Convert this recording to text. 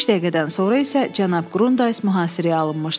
Üç dəqiqədən sonra isə cənab Qrundaiz mühasirəyə alınmışdı.